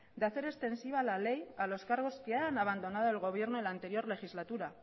de hacer extensiva la ley a los cargos que han abandonado el gobierno en la anterior legislatura